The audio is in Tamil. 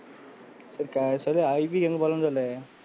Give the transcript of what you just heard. சரி IV க்கு எங்க போலன்னு சொல்லு?